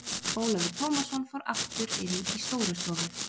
Ólafur Tómasson fór aftur inn í Stórustofu.